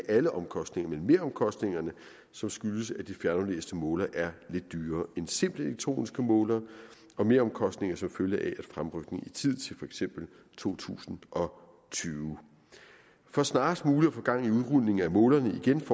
alle omkostningerne men meromkostningerne som skyldes at de fjernaflæste målere er lidt dyrere end simple elektroniske målere og meromkostninger som følge af fremrykningen i tid til for eksempel to tusind og tyve for snarest muligt at få gang i udrulningen af målerne igen